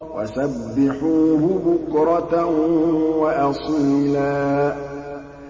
وَسَبِّحُوهُ بُكْرَةً وَأَصِيلًا